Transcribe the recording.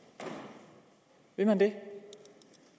vil man det